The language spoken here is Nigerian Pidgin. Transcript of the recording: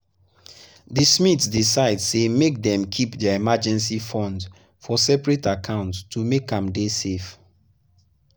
the smiths decide say make dem keep their emergency fund for separate account to make am dey safe